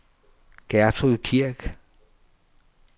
Gertrud Kirk